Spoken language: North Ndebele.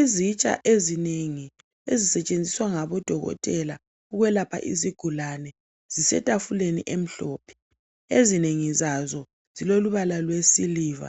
Izitsha ezinengi ezisetshenziswa ngabodokotela ukwelapha izigulane zisetafuleni emhlophe ezinengi zazo zilolubala lwesiliva